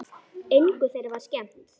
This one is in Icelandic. Engu þeirra var skemmt.